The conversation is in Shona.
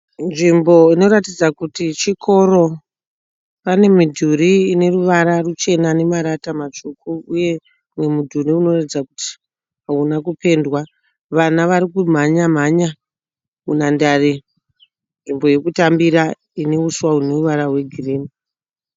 Nzvimbo Inoratidza kuti chikoro. Pane midhuri ineruvara ruchena nemarata matsvuku. Uye mumwe mudhuri unoratidza kuti hauna kupendewa. Vana Vari kumhanya mhanya munhandare , nzvimbo yekutambira ine uswa hune ruvara rwe girinhi.